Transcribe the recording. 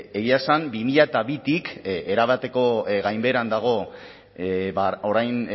egia esan bi mila bitik erabateko gainbeheran dago orain